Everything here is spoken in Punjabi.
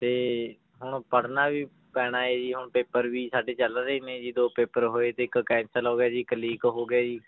ਤੇ ਹੁਣ ਪੜ੍ਹਨਾ ਵੀ ਪੈਣਾ ਹੈ ਜੀ ਹੁਣ paper ਵੀ ਸਾਡੇ ਚੱਲ ਰਹੇ ਨੇ ਜੀ ਦੋ paper ਹੋਏ ਤੇ ਇੱਕ cancel ਹੋ ਗਿਆ ਜੀ ਇੱਕ leak ਹੋ ਗਿਆ ਜੀ